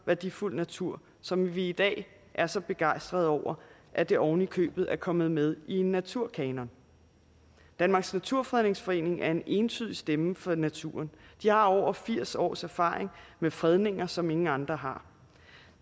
værdifuld natur som vi i dag er så begejstret over at det ovenikøbet er kommet med i en naturkanon danmarks naturfredningsforening er en entydig stemme for naturen de har over firs års erfaring med fredninger som ingen andre har